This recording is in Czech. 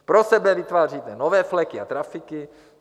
Pro sebe vytváříte nové fleky a trafiky.